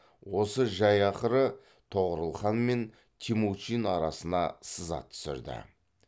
осы жай ақыры тоғорыл хан мен темучин арасына сызат түсірді